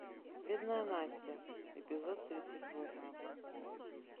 бедная настя эпизод тридцать восемь